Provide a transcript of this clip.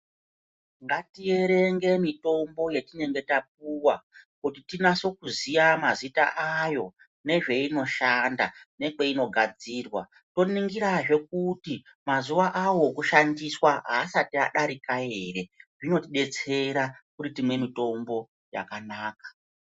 Ngatierenge mitombo yaetinenge tapiwa kuti tinase kuziya mazita ayo nezveinoshanda nekweinogadzirwa. Toningirazve kuti mazuwa awo ekushandiswa asati adarika ere. Zvinotidetsera kuti timwe mitombo yakanaka.